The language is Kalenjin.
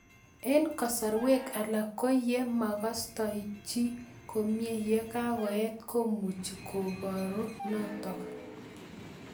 Eng'kasarwek alak ko ye makastoi chii komie ye kakoet komuchi koparu notok